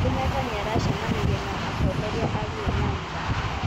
Kenyatta nĩ aracemanirie na atongoria a Luo Nyanza.